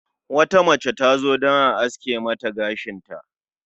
Wata mace tazo domin a aske Mata gashinta